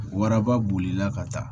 Waraba bolila ka taa